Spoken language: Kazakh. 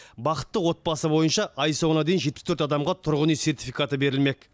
бақытты отбасы бойынша ай соңына дейін жетпіс төрт адамға тұрғын үй сертификаты берілмек